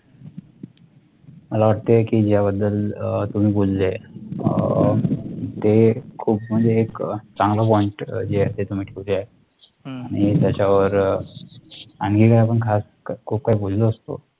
मला वाटते की याबद्दल अह तुम्ही बोलले अह ते खूप म्हणजे एक अह चांगलं point अह जे असते तुम्ही ठेवले आहे तुम्ही त्याच्या वर अह आणखी काय आपण खूप काही बोललो असतो